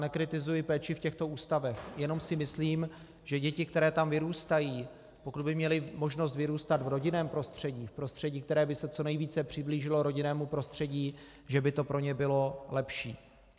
Nekritizuji péči v těchto ústavech, jenom si myslím, že děti, které tam vyrůstají, pokud by měly možnost vyrůstat v rodinném prostředí, v prostředí, které by se co nejvíce přiblížilo rodinnému prostředí, že by to pro ně bylo lepší.